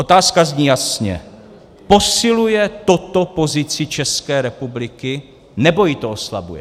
Otázka zní jasně: Posiluje toto pozici České republiky, nebo ji to oslabuje?